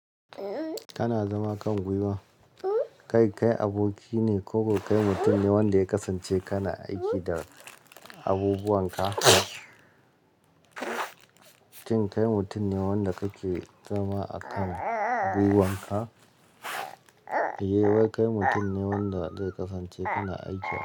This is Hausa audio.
Kana zama a kan guiwar. Kai kai aboki ne ko kai mutum ne wanda ya kasance kana aiki da abubuwan ka? Shin kai mutum ne wanda kake zama a kan guwan ka? Eh, wai kai mutum ne wanda zai kasance kana aiki da.